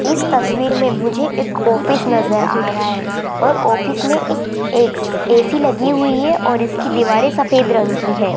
इस तस्वीर में मुझे एक ऑफिस नजर आ रहा है और ऑफिस में एक ए_सी लगी हुई है और इसकी दीवारें सफेद रंग की है।